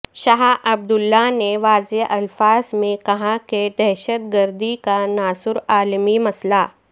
شاہ Abdullah نے واضح الفاظ میں کہا کہ دہشت گردی کا ناسور عالمی مسئلہ